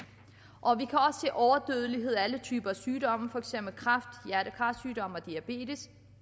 overdødelighed alle typer sygdomme for eksempel kræft hjerte kar sygdomme og diabetes